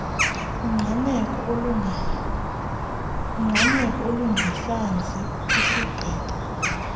ungqameko olungezantsi kwisiqingqo